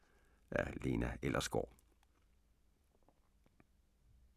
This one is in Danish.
Af Lena Ellersgaard